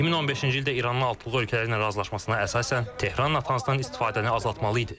2015-ci ildə İranın altı böyük ölkələrlə razılaşmasına əsasən Tehran Natansdan istifadəni azaltmalı idi.